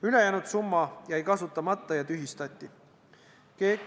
Ülejäänud summa jäi kasutamata ja tühistati.